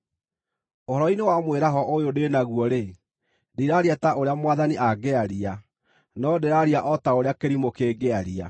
Ũhoro-inĩ wa mwĩraho ũyũ ndĩ naguo-rĩ, ndiraaria ta ũrĩa Mwathani angĩaria, no ndĩraaria o ta ũrĩa kĩrimũ kĩngĩaria.